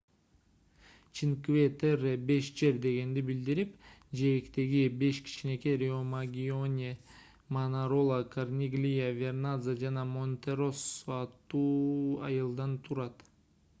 чинкве-терре беш жер дегенди билдирип жээктеги беш кичинекей риомаггиоре манарола корниглия верназца жана монтероссо аттуу айылдан турат